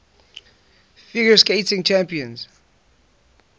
figure skating championships